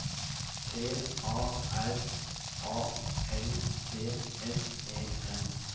T A R A L D S E N